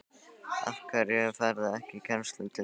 Af hverju ferðu ekki í kennslu til dæmis?